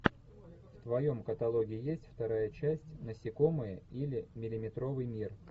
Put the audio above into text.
в твоем каталоге есть вторая часть насекомые или миллиметровый мир